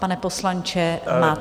Pane poslanče, máte slovo.